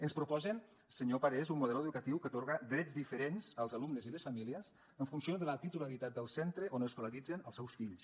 ens proposen senyor parés un model educatiu que atorga drets diferents als alumnes i a les famílies en funció de la titularitat del centre on escolaritzen els seus fills